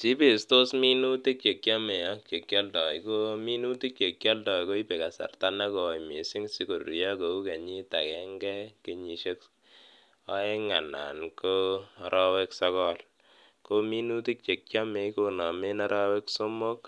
Cheipestos minutik chekiome ak che kioldo ii ,ko minutik chekioldo koibe kasarta negoi misink sikorurio kou kenyit agenge ,kenyisiek oeng anan ko orowek sogol kominutik chekiome konomen orowek somok